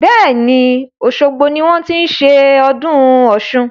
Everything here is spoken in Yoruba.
Bẹ́ẹ̀ni, osogbo ni wọn ti ń ṣe ọdún Ọ̀sun.